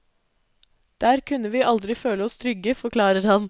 Der kunne vi aldri føle oss trygge, forklarer han.